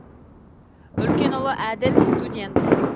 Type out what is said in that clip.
үлкен ұлы әділ студент